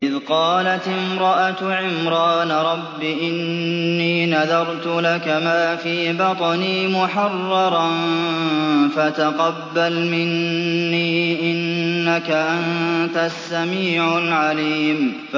إِذْ قَالَتِ امْرَأَتُ عِمْرَانَ رَبِّ إِنِّي نَذَرْتُ لَكَ مَا فِي بَطْنِي مُحَرَّرًا فَتَقَبَّلْ مِنِّي ۖ إِنَّكَ أَنتَ السَّمِيعُ الْعَلِيمُ